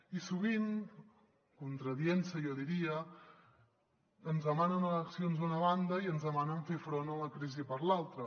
i sovint contradient se jo diria ens demanen eleccions d’una banda i ens demanen fer front a la crisi per l’altra